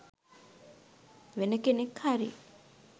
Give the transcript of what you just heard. වෙන කෙනෙක් හරි